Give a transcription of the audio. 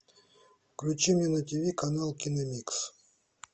включи мне на тиви канал киномикс